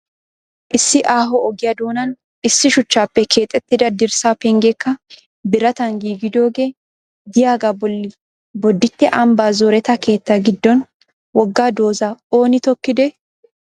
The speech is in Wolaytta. Issi aaho ogiya doonan issi shuchchaappe keexxettida dirssaa pengeekka biratan giigidoogee diyagaa bolli bodditte ambbaa zoreta keettaa giddon wogga doozaa ooni tokkidee?